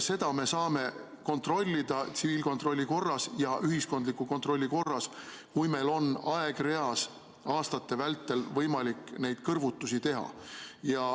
Seda me saame kontrollida tsiviilkontrolli korras ja ühiskondliku kontrolli korras, kui meil on aegreas aastate vältel võimalik neid kõrvutusi teha.